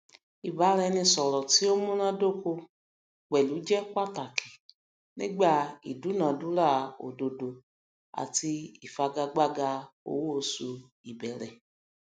ìbáraẹnisọrọ tí ó munádóko pẹlú hr jẹ pàtàkì nígbà ìdúnàdúrà ododo àti ìfigagbaga owóoṣù ìbẹrẹ